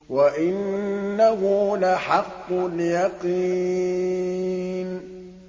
وَإِنَّهُ لَحَقُّ الْيَقِينِ